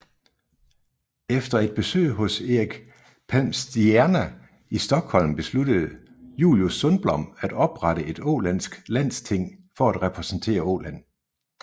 Efter et besøg hos Erik Palmstierna i Stockholm besluttede Julius Sundblom at oprette et ålandsk landsting for at repræsentere Åland